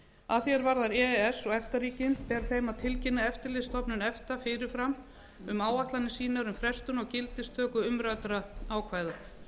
að því er varðar e e s og efta ríkin ber þeim að tilkynna eftirlitsstofnun efta fyrir fram um áætlanir sínar um frestun á gildistöku umræddra ákvæða